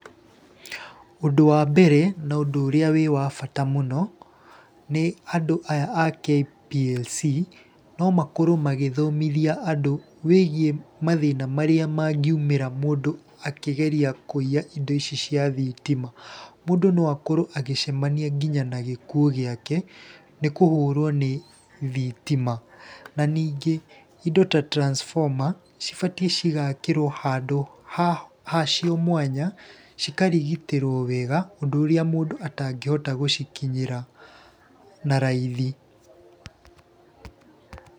Ũndũ wa mbere na ũndũ ũrĩa wĩ wa bata mũno, nĩ andũ aya a KPLC no makorwo magĩthomithia andũ wĩgiĩ mathĩna marĩa mangiumĩra mũndũ akĩgeria kũiya indo ici cia thitima. Mũndũ no akorwo agĩcemania nginya na gĩkuũ giake, nĩ kũhũrwo nĩ thitima. Na ningĩ indo ta transformer, cibatiĩ cigakĩrwo handũ hacio mwanya, cikarigitĩrwo wega, ũndũ ũrĩa mũndũ atangĩhota gũcikinyĩra na raithi.